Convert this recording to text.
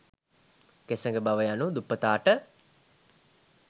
කෙසඟ බව යනු දුප්පතාට